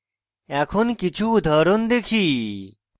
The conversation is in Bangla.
এখন কিছু উদাহরণ দেখি